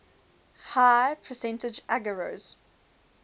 high percentage agarose